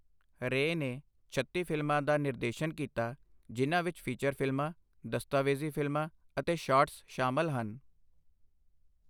ਰੇ ਨੇ ਛੱਤੀ ਫ਼ਿਲਮਾਂ ਦਾ ਨਿਰਦੇਸ਼ਨ ਕੀਤਾ, ਜਿਨ੍ਹਾਂ ਵਿੱਚ ਫੀਚਰ ਫ਼ਿਲਮਾਂ, ਦਸਤਾਵੇਜ਼ੀ ਫ਼ਿਲਮਾਂ ਅਤੇ ਸ਼ਾਰਟਸ ਸ਼ਾਮਲ ਹਨ।